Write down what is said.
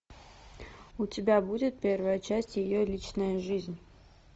у тебя будет первая часть ее личная жизнь